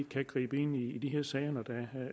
kan gribe ind i de her sager når der